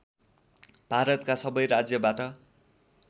भारतका सबै राज्यबाट